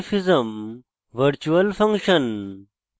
polymorphism virtual function